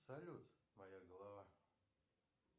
салют моя голова